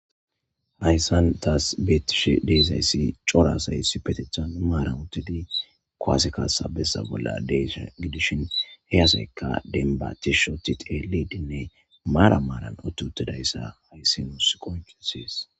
hayssan taas beettishe deesayssi corasaysi petethan maaran uttidi koase kasa bessa bolla desh gidishin heyaseykka denba tishshoti teeledinne maara maaran otti huttidayssa hayssi huus qonkesees